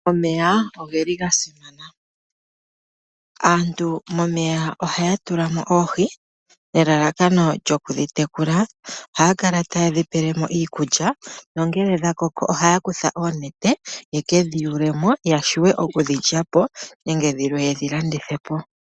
Omeya ogeli ga simana. Aantu momeya ohaya tula mo oohi nelalakano lyoku dhitekula. Ohaya kala taye dhipele mo iikulya. Nongele dha koko ohaya kutha oonete yeke dhiyule mo ya vule okudhilya po nenge dhilwe yedhi landithe po.